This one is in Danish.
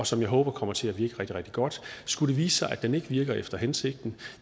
som jeg håber kommer til at virke rigtig rigtig godt skulle det vise sig at den ikke virker efter hensigten